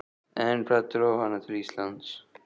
En hvað dró hana til Íslands?